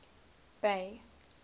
bay